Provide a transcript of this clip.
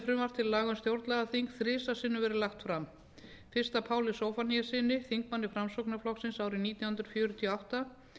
til laga um stjórnlagaþing þrisvar sinnum verið lagt fram fyrst af páli zóphóníassyni þingmanni framsóknarflokksins árið nítján hundruð fjörutíu og átta